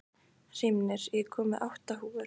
Hrímnir, ég kom með átta húfur!